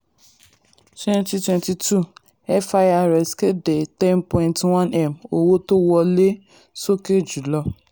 twenty twenty two firs kéde ten point one m owó tó wọlé sókè jù lọ.